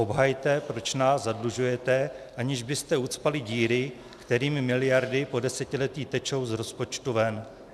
Obhajte, proč nás zadlužujete, aniž byste ucpali díry, kterými miliardy po desetiletí tečou z rozpočtu ven.